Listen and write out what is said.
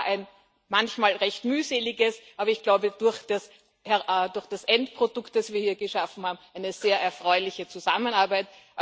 Es war eine manchmal recht mühselige, aber ich glaube durch das Endprodukt, das wir hier geschaffen haben eine sehr erfreuliche Zusammenarbeit.